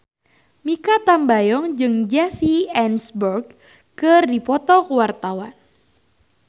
Mikha Tambayong jeung Jesse Eisenberg keur dipoto ku wartawan